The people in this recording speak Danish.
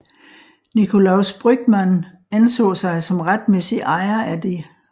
Nicolaus Brügmann anså sig som retmæssig ejer af det